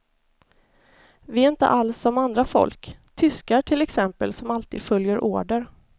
Vi är inte alls som andra folk, tyskar till exempel som alltid följer order.